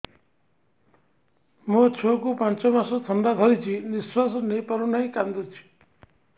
ମୋ ଛୁଆକୁ ପାଞ୍ଚ ମାସ ଥଣ୍ଡା ଧରିଛି ନିଶ୍ୱାସ ନେଇ ପାରୁ ନାହିଁ କାଂଦୁଛି